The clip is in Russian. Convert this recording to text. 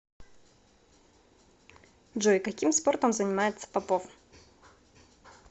джой каким спортом занимается попов